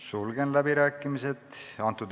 Sulgen läbirääkimised.